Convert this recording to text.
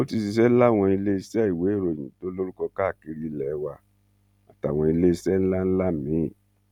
ó ti ṣiṣẹ láwọn iléeṣẹ ìwéèròyìn tó lórúkọ káàkiri ilé wa àtàwọn iléeṣẹ ńlá ńlá míín